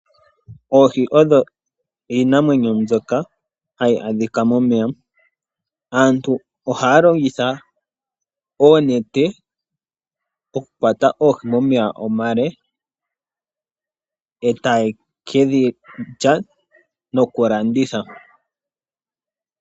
Oohi odho iinamwenyo mbyoka ha yi adhika momeya. Aantu oha ya longitha oonete oku kwata oohi momeya omale, ee taye ke dhi lya nokulanditha